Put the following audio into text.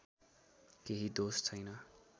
केही दोष छैन